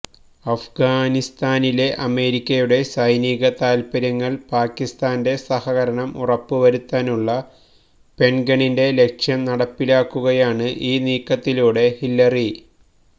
അഫ്ഗാനിസ്ഥാനിലെ അമേരിക്കയുടെ സൈനിക താല്പര്യങ്ങളില് പാക്കിസ്ഥാന്റെ സഹകരണം ഉറപ്പു വരുത്താനുള്ള പെന്റഗണിന്റെ ലക്ഷ്യം നടപ്പിലാക്കുകയാണ് ഈ നീക്കത്തിലൂടെ ഹില്ലരി